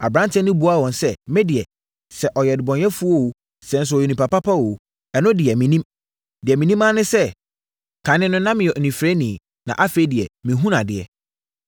Aberanteɛ no buaa wɔn sɛ, “Me deɛ, sɛ ɔyɛ ɔdebɔneyɛfoɔ o, sɛ nso ɔyɛ onipa pa o, ɛno deɛ, mennim. Deɛ menim ara ne sɛ, kane no na meyɛ onifirani na afei deɛ mehunu adeɛ.”